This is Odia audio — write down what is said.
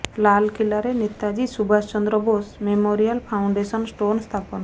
ଲାଲକିଲ୍ଲାରେ ନେତାଜୀ ସୁବାଷ ଚନ୍ଦ୍ର ବୋଷ ମେମୋରିଆଲର ଫାଉଣ୍ଡେସନ ଷ୍ଟୋନ୍ ସ୍ଥାପନ